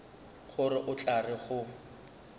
gore o tla re go